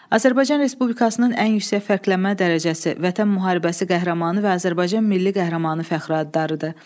Azərbaycan Respublikasının ən yüksək fərqlənmə dərəcəsi Vətən Müharibəsi Qəhrəmanı və Azərbaycan Milli Qəhrəmanı fəxri adlarıdır.